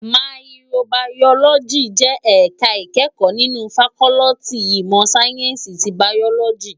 Màyìkróbàyólòjí jè èká ikèékò ninú fàkòliti imò sáyènsí ti bàyólòjí